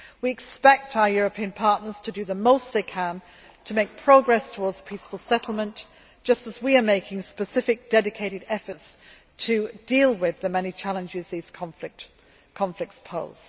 We expect our European partners to do the most they can to make progress towards peaceful settlement, just as we are making specific dedicated efforts to deal with the many challenges these conflicts pose.